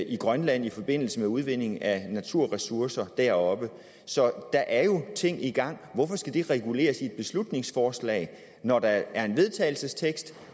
i grønland i forbindelse med udvinding af naturressourcer deroppe så der er jo ting i gang hvorfor skal det reguleres i et beslutningsforslag når der er en vedtagelsestekst